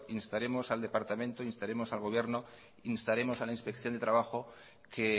instaremos al departamento instaremos al gobierno instaremos a la inspección de trabajo que